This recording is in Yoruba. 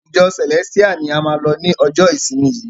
Ìjọ Celestial ni a máa lọ ni ọjọ ìsinmi yìí!